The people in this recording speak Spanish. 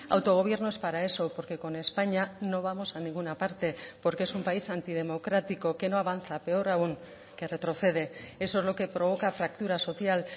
autogobierno es para eso porque con españa no vamos a ninguna parte porque es un país antidemocrático que no avanza peor aún que retrocede eso es lo que provoca fractura social